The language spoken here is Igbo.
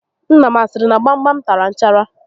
Nna m a siri na gbam gbam tara nchara?